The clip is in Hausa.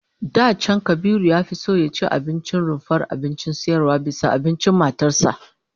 Da can Kabiru ya fi son ya ci abincin rumfar abincin sayarwa bisa abincin matar sa